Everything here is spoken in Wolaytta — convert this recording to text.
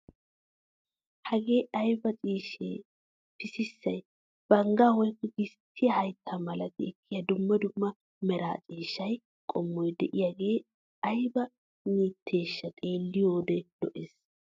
Hagee aybaa ciishshay pississay banggaa woykko gistiya haytta malati ekkiya dumma dumma mera ciishshaa qommoy de'iyogee ayba mitteshsh xeeliyode lo"ees.